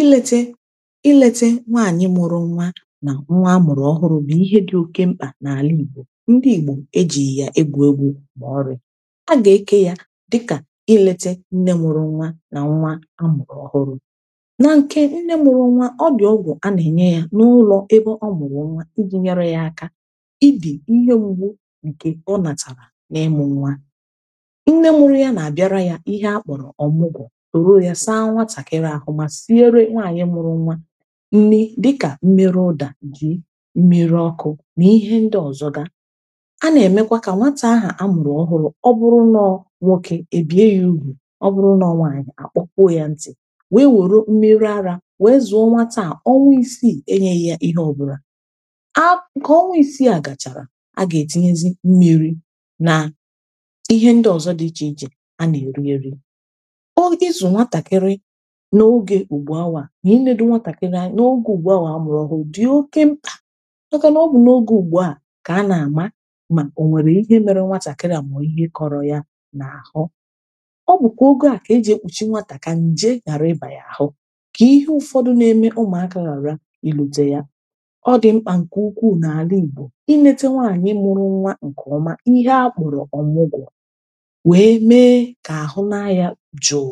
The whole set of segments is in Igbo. ileta ileta nwaanyị mụrụ nwa na nwa ọhụrụ bụ ihe dị oke mkpa n’alị igbo ndị igbo ejighi ya egwu egwu ma ọrị a ga eke ya dịka ileta nne mụrụ nwa na nwa amụrụ ọhụrụ na nke nne mụrụ nwa ọ dị ọgwọ a na-enye ya n’ụlọ ebe ọ mụrụ nwa iji nyere ya aka ịbị ihe mgbu nke ụ natara n’ịmụ nwa nne mụrụ ya na-abịara ya ihe akpọrọ ọgbụgbọ mmiri dịkà mmerụ ụdà jì mmerụ ọkụ̇ nà ihe ndị ọzọ gȧ a nà-èmekwa kà nwata ahụ̀ a mụ̀rụ̀ ọhụrụ̇ ọ bụrụ nà ọ nwokė èbie yȧ ùgwù ọ bụrụ nà ọ nwàànyị̀ àkpụkwo yȧ ntị̀ wee wère mmerụ arȧ wee zùo nwata à onwa isi ènyėghị ihe ọbụlà a kà onwa isi a gà ètinyezị mmiri̇ nà ihe ndị ọzọ dị ichè ichè a nà èri eri ɪ́ ɪ́zụ̀ nwatàkịrị ihe ndị nwatà kee na anyị̇ n’ogè ùgbò awà a mụrụ ọhụụ dị̀ oke m ọkà n’ọbụ na ogè ùgbò à kà a nà-àma mà ò nwèrè ihe mere nwatà kà nà mọ̀ọ̀ ihe kọrọ̇ yȧ n’àhụ ọ bụ̀kwà ogè à kà ejì ekpùchi nwatà kà nje ghàra ịbà yà àhụ kà ihe ụ̀fọdụ na-eme ụmụ̀akà ghàra i lòtè yà ọ dị̀ mkpà ǹkè ukwuù n’àla ìgbò i lete nwaanyị̀ mụrụ nwa ǹkè ọma ihe akpụ̀rụ̀ ọmụgwọ̀ wee mee kà àhụ na-ayà jò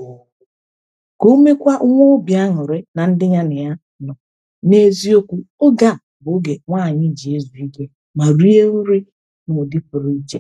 n’eziokwu oge a bụ oge nwaanyị ji zubege ma rie nri mgbe pụrụ iche